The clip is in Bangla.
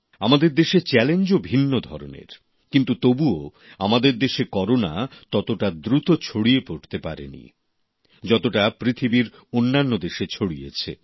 আমাদের দেশে চ্যালেঞ্জও ভিন্ন ধরনের কিন্তু তবুও আমাদের দেশে করোনা ততটা দ্রুত ছড়িয়ে পড়তে পারে নি যতটা পৃথিবীর অন্যান্য দেশে ছড়িয়েছে